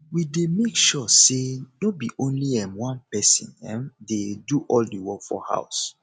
we dey make sure say no be only um one pesin um dey do all the work for house